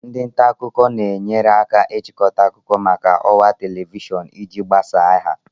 Ndị nta akụkọ na-enyere aka ịchịkọta akụkọ maka ọwa Television iji gbasaa ha